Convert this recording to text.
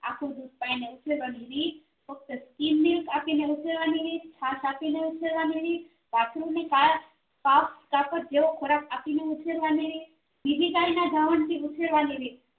આખ્ખું દુધ પાયને ઉછેરવા ની રીત ફક્ત આપીને ઉછેરવાની રીત છાસ આપીને ઉછેરવાની રીત જેવો ખોરાક આપીને ઉછેરવાની રીત બીજી ગાય ના ધાવણ થી ઉછેરવાની રીત